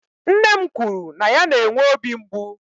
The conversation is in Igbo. Nne m kwuru na ya na-enwe obi mgbu.